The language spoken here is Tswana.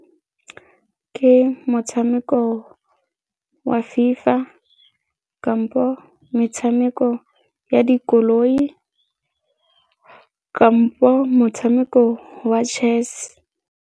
Ke motshameko wa FIFA kampo metshameko ya dikoloi kampo motshameko wa chess.